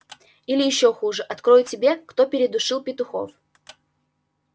или ещй хуже открою тебе кто передушил петухов